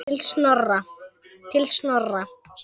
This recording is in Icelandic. Til Snorra.